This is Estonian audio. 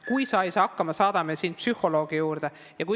"Kui sa ei saa hakkama, saadame sind psühholoogi juurde!